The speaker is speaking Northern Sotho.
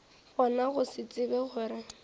gona go se tsebe gore